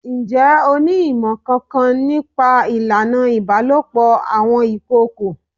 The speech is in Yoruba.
Ǹjẹ́ o ní ìmọ̀ kankan ní pa ìlànà ìbálòpọ̀ àwọn ìkookò?